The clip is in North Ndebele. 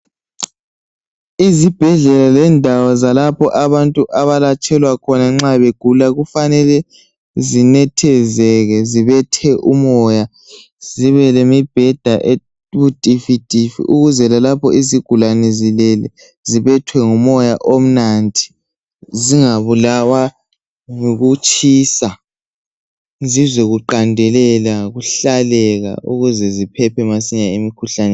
Izibhedlela lendawo lapho abantu abalatshwa khona nxa begula, kufanele sinethezeke zibethe umoya zibe lemibheda ebutifitifi ukuze lalapho izigulani zilele zibethwe ngumoya omnandi. Zingabulawa yikutshisa zizwe kuhlaleka kuqandelela kuhlaleka ukuze ziphephe masinyane.